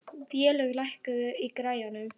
Vélaug, lækkaðu í græjunum.